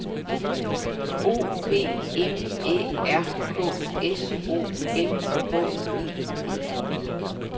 O P M Æ R K S O M H E D